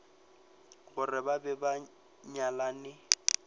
gore ba be ba nyalane